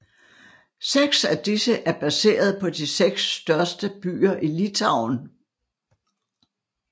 Seks af disse er baseret på de seks største byer i Litauen